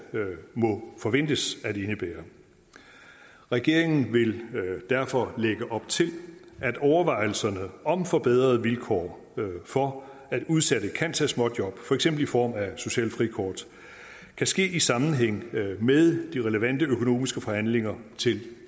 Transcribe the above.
må forventes at indebære regeringen vil derfor lægge op til at overvejelserne om forbedrede vilkår for at udsatte kan tage småjob for eksempel i form af socialt frikort kan ske i sammenhæng med de relevante økonomiske forhandlinger til